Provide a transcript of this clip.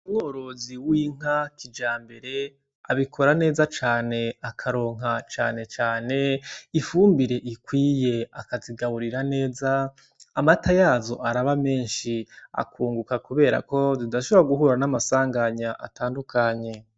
Umworozi w'inka kijambere abikora neza cane akaronka canecane ifumbire ikwiye akazigaburira neza amata yazo araba meshi akunguka kuberako zidashobora guhura n'amasanganya atandukanye.